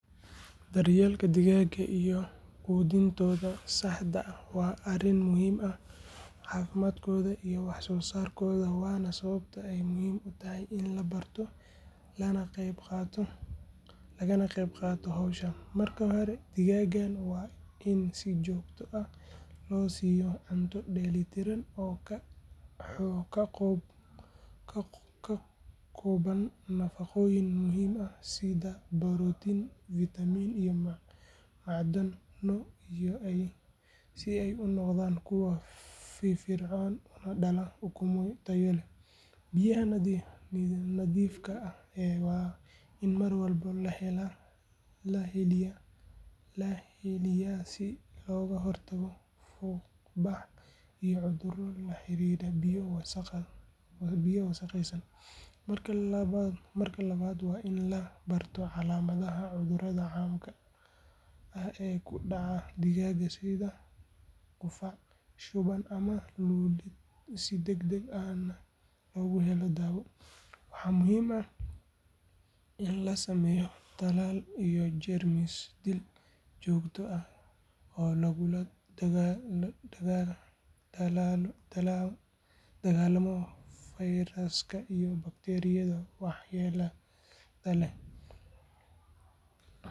Daryeelka digaagga iyo quudintooda saxda ah waa arrin muhiim u ah caafimaadkooda iyo wax soo saarkooda waana sababta ay muhiim u tahay in la barto lagana qaybqaato hawshan. Marka hore digaagga waa in si joogto ah loo siiyo cunto dheellitiran oo ka kooban nafaqooyin muhiim ah sida borotiin, fitamiin iyo macdano si ay u noqdaan kuwo firfircoon una dhalaan ukumo tayo leh. Biyaha nadiifka ah waa in mar walba la heliyaa si looga hortago fuuqbax iyo cuduro la xiriira biyo wasakhaysan. Marka labaad waa in la barto calaamadaha cudurada caamka ah ee ku dhaca digaagga sida qufac, shuban ama lulid si degdeg ahna loogu helo daawo. Waxaa muhiim ah in la sameeyo talaal iyo jeermis-dil joogto ah oo lagula dagaalamo fayraska iyo bakteeriyada waxyeellada leh.